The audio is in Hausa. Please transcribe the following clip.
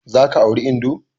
Za ka auri indo!